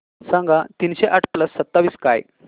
सांगा तीनशे आठ प्लस सत्तावीस काय